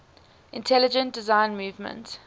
intelligent design movement